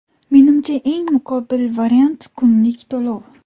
Menimcha, eng muqobil variant - kunlik to‘lov.